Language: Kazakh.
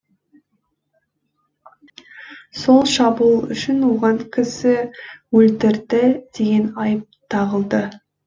сол шабуыл үшін оған кісі өлтірді деген айып тағылды